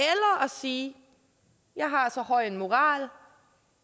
sige jeg har så høj en moral